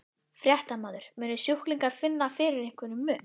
Fréttamaður: Munu sjúklingar finna fyrir einhverjum mun?